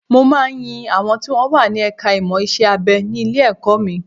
Mo máa ń ń yin àwọn tí wọ́n wà ní ẹ̀ka ìmọ̀ iṣẹ́-abẹ ní ilé-ẹ̀kọ́ mi